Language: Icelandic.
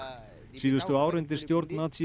síðustu ár undir stjórn